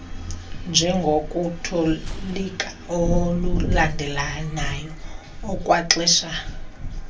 njengokutolika okulandelelanayo okwaxesha